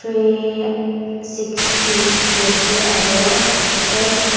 prey sixty dikhi ase aro s--